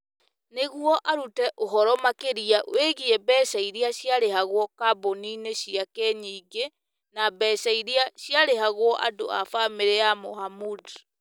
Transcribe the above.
nĩguo arute ũhoro makĩria wĩgiĩ mbeca iria ciarĩhagwo kambuni-inĩ ciake nyingĩ na mbeca iria ciarĩhagwo andũ a bamĩrĩ ya Mohamud.